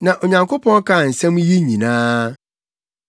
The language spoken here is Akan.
Na Onyankopɔn kaa nsɛm yi yi nyinaa: